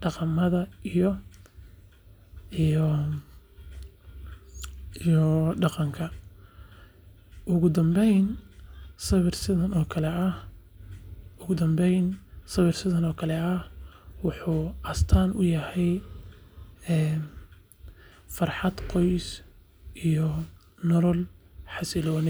dhaqamada iyo dhadhanka. Ugu dambayn, sawir sidan oo kale ah wuxuu astaan u yahay farxad qoys iyo nolol xasiloon.